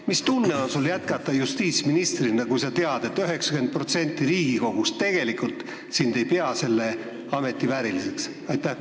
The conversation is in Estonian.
Mis tunne on sul jätkata justiitsministrina, kui sa tead, et 90% Riigikogust tegelikult ei pea sind selle ameti vääriliseks?